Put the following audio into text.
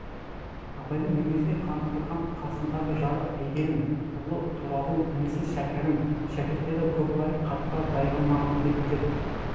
абайдың мінезіне қанықтырған қасындағы жары әйгерім ұлы тұрағұл інісі шәкәрім шәкірттері көкбай қатпа баймағамбеттер